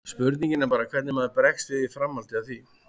Spurningin er bara hvernig maður bregst við í framhaldi af því.